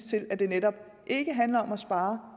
til at det netop ikke handler om at spare